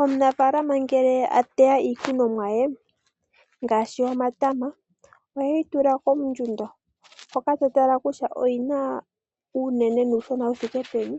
Omunafaalama ngele ateya iikunomwa ye ngaashi omatama oheyi tula kondjundo , hoka teyi tala kutya oyina uunene nuushona wuthike peni